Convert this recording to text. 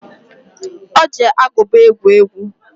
Ọ ji agụba egwu egwu.